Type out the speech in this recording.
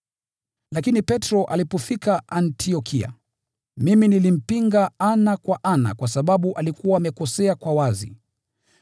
Lakini Petro alipofika Antiokia, mimi nilimpinga ana kwa ana kwa sababu alikuwa amekosea kwa wazi.